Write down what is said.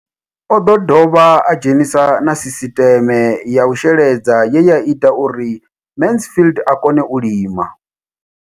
O ḓo dovha a dzhenisa na sisiṱeme ya u sheledza ye ya ita uri Mansfied a kone u lima.